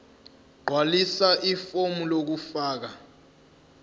gqwalisa ifomu lokufaka